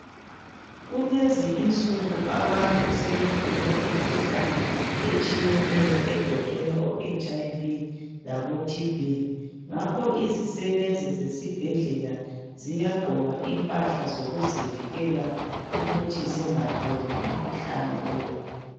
Kulezi insuku abantu segula imikhuhlane etshiyeneyo egoqela bo 'HIV' labo 'TB'. Ngakho izisebenzi zasesibhedlela ziyagqoka imphahla zokuzivikela ukuthi zingatholi umkhuhlane lowu.